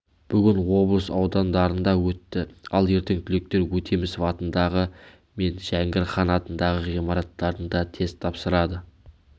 бүгін облыс аудандарында өтті ал ертең түлектер өтемісов атындағы мен жәңгір хан атындағы ғимараттарында тест тапсырады